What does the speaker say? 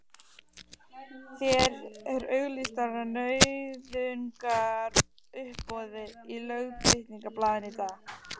Þær eru auglýstar á nauðungaruppboði í Lögbirtingablaðinu í dag!